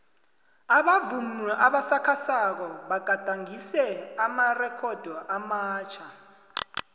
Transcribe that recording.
abavumi abasakhasako bagadangise amarekhodo amatjha